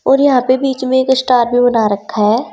और यहां पे बीच में एक स्टार भी बना रखा है।